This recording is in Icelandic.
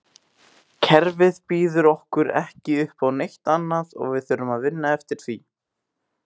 Kerfið býður okkur ekki uppá neitt annað og við þurfum að vinna eftir því.